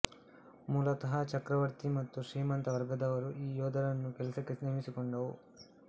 ಮೂಲತಃ ಚಕ್ರವರ್ತಿ ಮತ್ತು ಶ್ರೀಮಂತ ವರ್ಗದವರು ಈ ಯೋಧರನ್ನು ಕೆಲಸಕ್ಕೆ ನೇಮಿಸಿಕೊಂಡವು